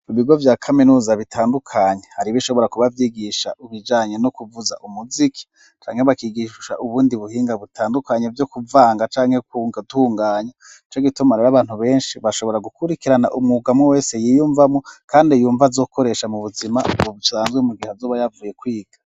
Mu bigo vya kaminuza bitandukanye hari ibishobora kubavyigisha ubijanye no kuvuza umuziki canke bakigishsha ubundi buhinga butandukanye vyo kuvanga canke kungtunganya ico gituma rero abantu benshi bashobora gukurikirana umwugamu wese yiyumvamwo, kandi yumva azokoresha mu buzima bucanzwe mu gihe azuba yavuye kwiga.